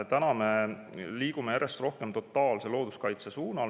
Täna me liigume järjest rohkem totaalse looduskaitse suunas.